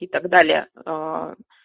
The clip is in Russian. и так далее а